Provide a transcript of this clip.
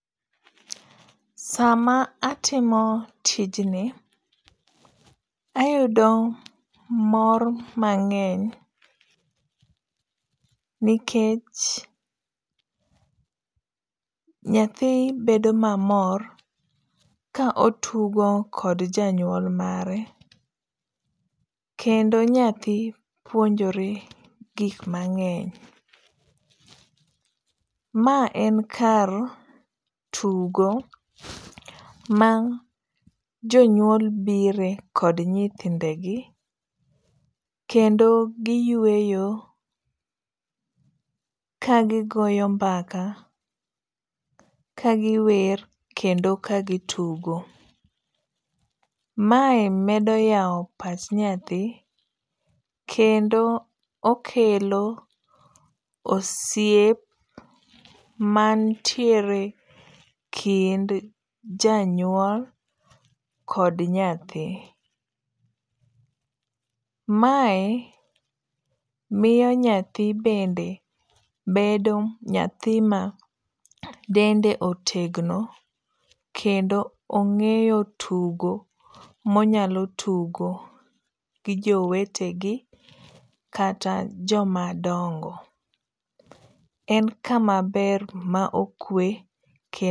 Sama atimo tijni ayudo mor mangeny nikech nyathi bedo mamor ka otugo kod janyuol mare, kendo nyathi puonjore gik mangeny. Ma en kar tugo ma jonyuol bire kod nyithindegi, kendo giyweyo kagigoyo mbaka kagiwer kendo ka gitugo, mae medo yao pach nyathi kendo okelo osiep manitiere e kind janyuol kod nyathi, mae miyo nyathi bende bedo nyathi ma dende otegno kendo ongeyo tugo monyalo tugo gi jowetegi kata joma dongo, en kamaber kendo okwe